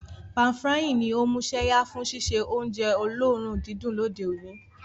Pan-frying ní o músẹ́yá fun síse ounje olóòrun didùn lóde oní